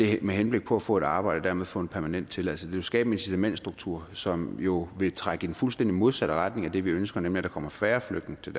henblik på at få et arbejde og dermed få en permanent tilladelse det vil skabe en incitamentstruktur som jo vil trække i den fuldstændig modsatte retning af det vi ønsker nemlig at der kommer færre flygtninge til